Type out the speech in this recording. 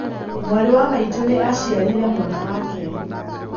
mwarĩ wa maitũ nĩ aciarĩire mwana wake